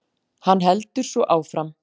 Hann heldur svo áfram